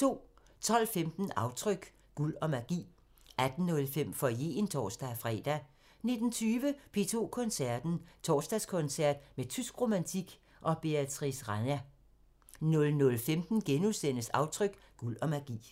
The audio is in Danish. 12:15: Aftryk – Guld og magi 18:05: Foyeren (tor-fre) 19:20: P2 Koncerten – Torsdagskoncert med tysk romantik og Beatrice Rana 00:15: Aftryk – Guld og magi *